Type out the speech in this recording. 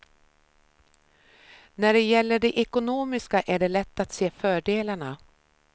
När det gäller det ekonomiska är det lätt att se fördelarna.